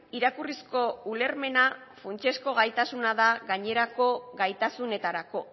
irakurrizko ulermena funtsezko gaitasuna da gainerako gaitasunetarako